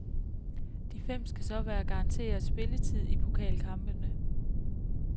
De fem skal så være garanteret spilletid i pokalkampene.